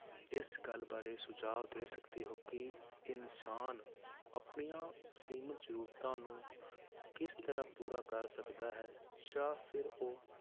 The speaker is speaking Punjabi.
ਇਸ ਗੱਲ ਬਾਰੇ ਸੁਝਾਵ ਦੇ ਸਕਦੇ ਹੋ ਕਿ ਇਨਸਾਨ ਆਪਣੀਆਂ ਅਸੀਮਿਤ ਜ਼ਰੂਰਤਾਂ ਨੂੰ ਕਿਸ ਤਰ੍ਹਾਂ ਪੂਰਾ ਕਰ ਸਕਦਾ ਹੈ ਜਾਂ ਫਿਰ ਉਹ